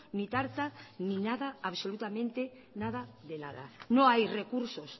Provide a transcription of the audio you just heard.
ni tarta ni nada absolutamente nada de nada no hay recursos